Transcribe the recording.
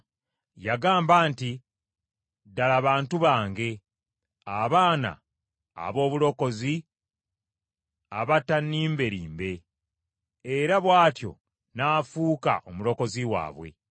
Yagamba nti, “Ddala bantu bange, abaana aboobulenzi abatannimbelimbe,” era bw’atyo n’afuuka omulokozi waabwe.